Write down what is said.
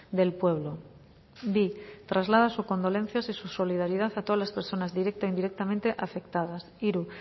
del pueblo bi traslada sus condolencias y su solidaridad a todas las personas directa e indirectamente afectadas hiru